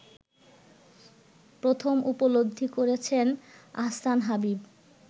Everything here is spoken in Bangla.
প্রথম উপলব্ধি করেছেন আহসান হাবীব